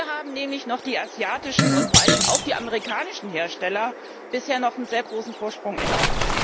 Hier haben nämlich die asiatischen und vor allen Dingen auch die amerikanischen Hersteller bisher noch einen sehr großen Vorsprung inne.